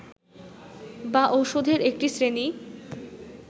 বা ঔষধের একটি শ্রেণী